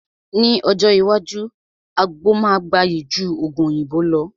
Ní ọjọ́ iwájú, àgbo máa gbayì ju Ògùn òyìnbó lọ